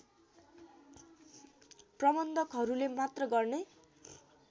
प्रबन्धकहरूले मात्र गर्ने